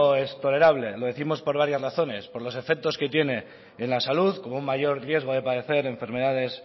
es tolerable lo décimos por varias razones por los efectos que tiene en la salud como un mayor riesgo de padecer enfermedades